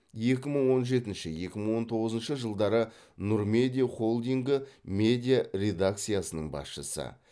екі мың он жетінші екі мың он тоғызыншы жылдары нұр медиа холдингі медиа редакциясының басшысы